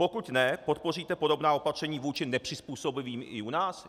Pokud ne, podpoříte podobná opatření vůči nepřizpůsobivým i u nás?